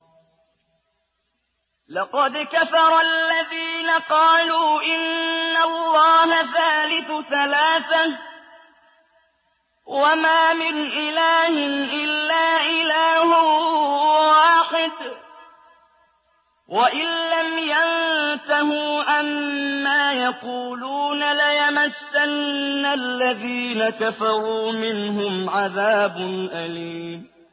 لَّقَدْ كَفَرَ الَّذِينَ قَالُوا إِنَّ اللَّهَ ثَالِثُ ثَلَاثَةٍ ۘ وَمَا مِنْ إِلَٰهٍ إِلَّا إِلَٰهٌ وَاحِدٌ ۚ وَإِن لَّمْ يَنتَهُوا عَمَّا يَقُولُونَ لَيَمَسَّنَّ الَّذِينَ كَفَرُوا مِنْهُمْ عَذَابٌ أَلِيمٌ